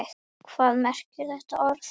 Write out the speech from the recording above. Hvað merkir þetta orð?